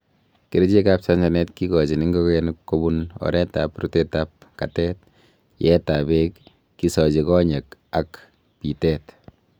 Kerichek ab chanchanet kikochin ingogenik kobun oretab rutetab katet, yeetab beek, kisochi konyek ak bitet.